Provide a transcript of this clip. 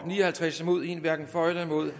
ni og halvtreds hverken for eller imod